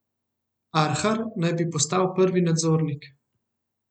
Arhar naj bi postal prvi nadzornik.